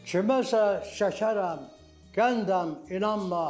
Kiməsə şəkərəm, qəndəm inanma.